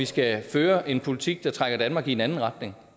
skal føres en politik der trækker danmark i en anden retning